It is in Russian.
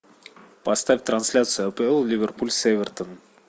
поставь трансляцию апл ливерпуль с эвертон